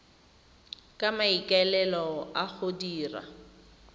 ka maikaelelo a go dira